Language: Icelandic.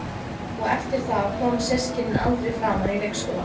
Og eftir það koma systkinin aldrei framar í leikskólann.